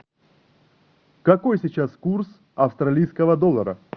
какой сейчас курс австралийского доллара